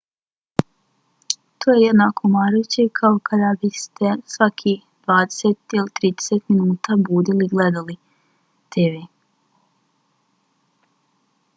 to je jednako umarajuće kao kada biste se svakih dvadeset ili trideset minuta budili i gledali tv